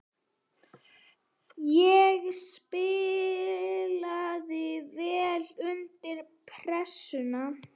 Ég spilaði vel undir pressu.